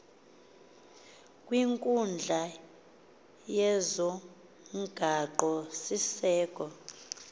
kwinkundla yezomgaqo siseko